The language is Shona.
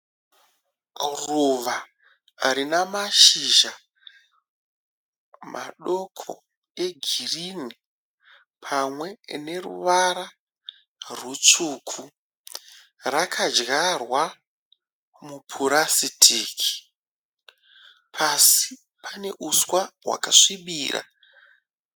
Ruva rinamashizha madoko egirinhi pamwe neruvara rutsvuku. Rakadyarwa mupurasitiki. Pasi pane uswa hwakasvibirira.